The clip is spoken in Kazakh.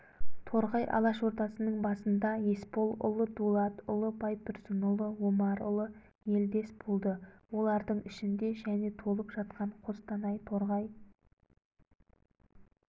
торғай алашордасының басында есполұлы дулатұлы байтұрсынұлы омарұлы елдес болды олардың ішінде және толып жатқан қостанай торғай